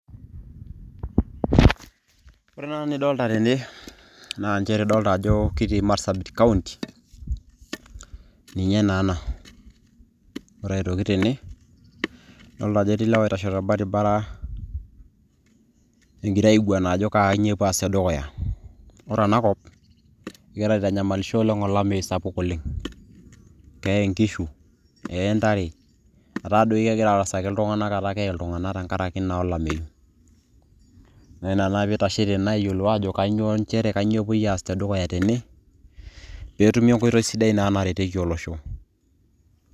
ore ena nidolita tene nidolita ajo kitii marsabit kaunti ninye naa ena. ore aitoki tene, idoolta ajo ketii ilewa oitashe torbaribara. egira aainguana ajo kainyio epuo aas te dukuya. ore ena kop kegira aitanyamalisho olameyu sapuk oleng. keye nkishu, neye ntare, etaa doi kegira arasaki iltunganak etaa keye iltung'anak. tenkaraki naa olameyu. naa ina pee eitashei naa tene aayiiolu aajo, kanyioo nchere epuoi naa aas tene, pee etumi enkoitoi sidai naa naretieki olosho.